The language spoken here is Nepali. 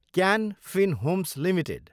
can Fin Homes Ltd